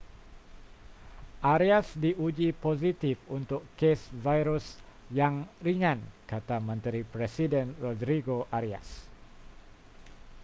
arias diuji positif untuk kes virus yang ringan kata menteri presiden rodrigo arias